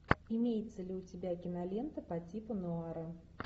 имеется ли у тебя кинолента по типу нуара